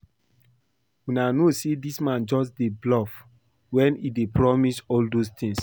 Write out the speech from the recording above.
Una no say dis man just dey bluff wen he dey promise all those things